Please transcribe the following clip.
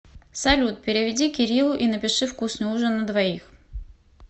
салют переведи кириллу и напиши вкусный ужин на двоих